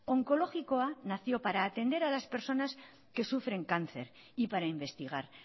onkologikoa nació para atender a las personas que sufren cáncer y para investigar